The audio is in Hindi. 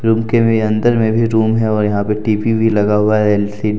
रूम के में अंदर में भी रूम है और यहां पर टी_वी भी लगा हुआ है एल_सी ।